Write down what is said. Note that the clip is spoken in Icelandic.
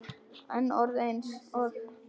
En orð eins og